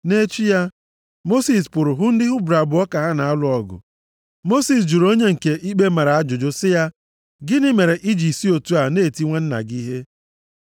Nʼechi ya, Mosis pụrụ hụ ndị Hibru abụọ ka ha na-alụ ọgụ. Mosis jụrụ onye nke ikpe mara ajụjụ sị ya, “Gịnị mere i ji si otu a na-eti nwanna gị ihe?”